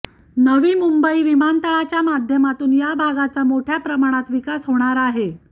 नवी मुंबई विमानतळाच्या माध्यमातून या भागाचा मोठ्या प्रमाणात विकास होणार आहे